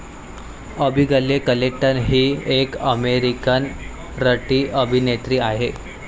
Abigail Clayton हि एक American रतिअभिनेत्री आहे.